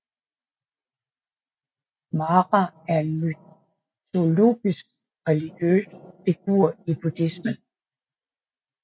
Mara er en mytologisk religiøs figur i buddhismen